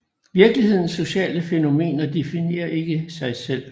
Virkelighedens sociale fænomener definerer ikke sig selv